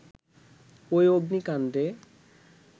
ঐ অগ্নিকাণ্ডে